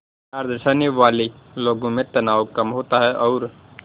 प्यार दर्शाने वाले लोगों में तनाव कम होता है और